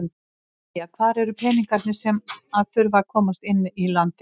Jæja hvar eru peningarnir sem að þurfa að komast inn í landið?